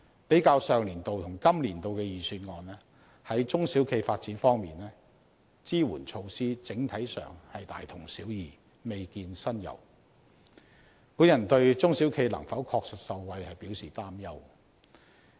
比較上年度與今年度的預算案，在中小企發展方面，支援措施在整體上是大同小異，未見新猷，我對中小企能否確實受惠表示擔憂。